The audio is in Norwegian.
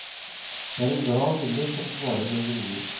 Det er en glad vinner som svarer når vi ringer.